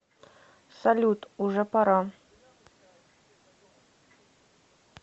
салют уже пора